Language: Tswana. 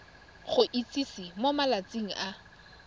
go itsise mo malatsing a